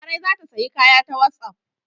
Larai za ta sayi kaya ta wasapp.